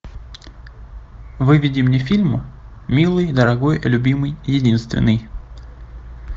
выведи мне фильм милый дорогой любимый единственный